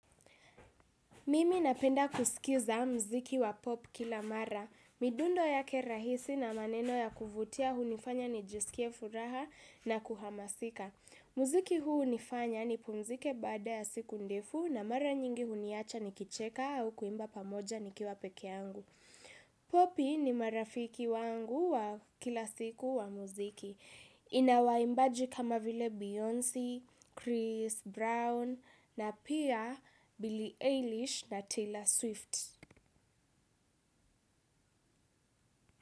Mimi napenda kusikiza mziki wa pop kila mara. Midundo yake rahisi na maneno ya kuvutia hunifanya ni jisikie furaha na kuhamasika. Mziki huu nifanya ni pumzike bada ya siku ndefu na mara nyingi huniacha ni kicheka au kuimba pamoja nikiwa peke angu. Popi ni marafiki wangu wa kila siku wa mziki. Ina waimbaji kama vile Beyoncé, Chris Brown na pia Billie Eilish na Taylor Swift.